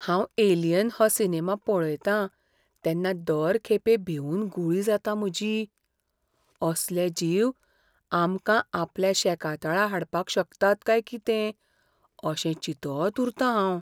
हांव "एलियन" हो सिनेमा पळयतां तेन्ना दर खेपे भिवून गुळी जाता म्हजी. असले जीव आमकां आपल्या शेकातळा हाडपाक शकतात काय कितें अशें चिंतत उरतां हांव.